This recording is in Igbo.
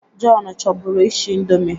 Jọn chọburu ishi ịndomi